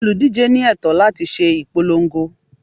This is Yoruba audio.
Olùdíje ní ẹ̀tọ́ láti ṣe ìpolongo.